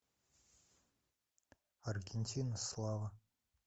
аргентина слава